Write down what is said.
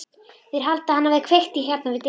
Þeir halda að hann hafi kveikt í hérna við dyrnar.